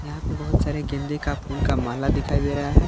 यहां पे बहुत सारे गेंदे का फूल का माला दिखाई दे रहा है।